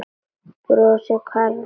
Brosið hvarf af Sölva.